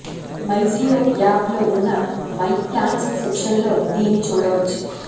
MyJio app లో ఉన్న my plans section లో దీన్ని చూడవచ్చు